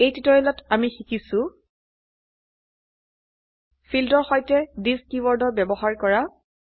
এই টিউটোৰিয়েলত আমি শিকিছো ফীল্ডেৰ সৈতেthis কীওয়াৰ্ডেৰ ব্যবহাৰ কৰা